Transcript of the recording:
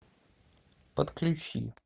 подключи